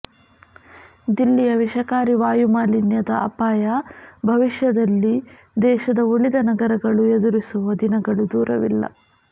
ದಿಲ್ಲಿಯ ವಿಷಕಾರಿ ವಾಯುಮಾಲಿನ್ಯದ ಅಪಾಯ ಭವಿಷ್ಯದಲ್ಲಿ ದೇಶದ ಉಳಿದ ನಗರಗಳು ಎದುರಿಸುವ ದಿನಗಳು ದೂರವಿಲ್ಲ